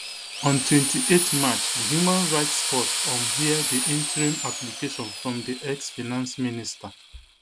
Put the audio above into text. on twenty-eight march di human rights court um hear di interim application from di ex finance minister